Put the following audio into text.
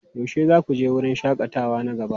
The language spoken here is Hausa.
Yaushe za ku je wurin shakatawa na gaba?